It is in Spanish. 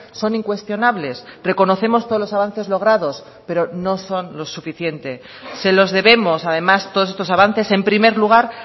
son incuestionables reconocemos todos los avances logrados pero no son lo suficiente se los debemos además todos estos avances en primer lugar